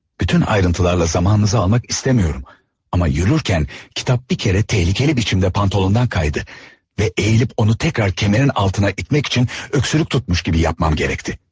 Bütün ayrıntılarla zamanınızı almaq istəmirəm, amma yürürkən kitab bir kərə təhlükəli biçimdə pantolondan qaydı və əyilip onu təkrar kəmərin altına itmək üçün öskürük tutmuş kimi yapmam gərəkti.